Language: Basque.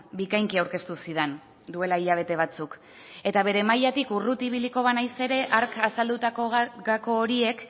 bikainki aurkeztu zidan duela hilabete batzuk eta bere mailatik urruti ibiliko banaiz ere hark azaldutako gako horiek